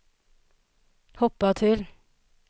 hoppa till